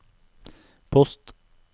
post